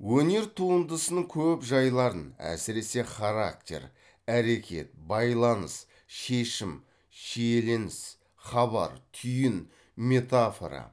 өнер туындысының көп жайларын әсіресе характер әрекет байланыс шешім шиеленіс хабар түйін метафора